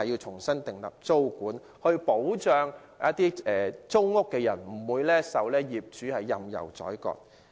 重新訂立租管，有助保障租戶不受業主任意宰割。